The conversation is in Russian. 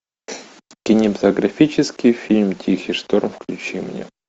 кинематографический фильм тихий шторм включи мне